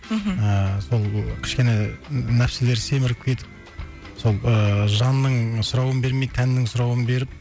мхм ыыы сол кішкене нәпсілер семіріп кетіп сол ыыы жанның сұрауын бермей тәннің сұрауын беріп